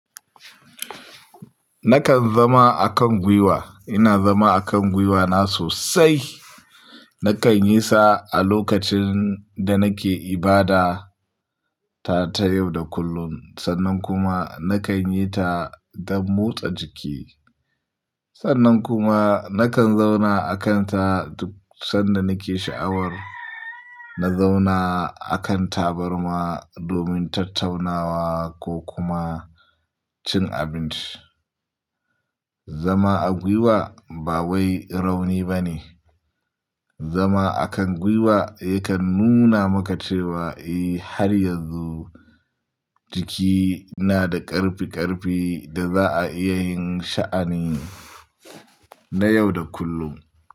Nakan zama a kan gwiwa. Ina zama a kan gwiwa na sosai. Nakan yi sa a lokacin da nake ibada ta, ta yau da kullum. Sannan kuma nakan yi ta don motsa jiki. Sannan kuma nakan zauna a kan ta duk sanda nake sha'awar na zauna a kan tabarma domin tattaunawa ko kuma cin abinci. Zama a gwiwa ba wai rauni ba ne. Zama a kan gwiwa yakan nuna maka cewa, eh har yanzu jiki na da ƙarfi-ƙarfi da za a iya yin sha'ani na yau da kullum.